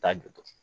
Taa jɔ